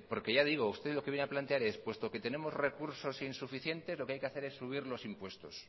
porque ya digo usted lo que viene a plantear es puesto que tenemos recursos insuficiente lo que hay que hacer es subir los impuestos